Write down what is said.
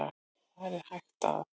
Þar er hægt að